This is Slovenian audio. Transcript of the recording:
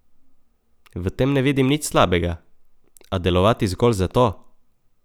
V tem ne vidim nič slabega, a delovati zgolj za to?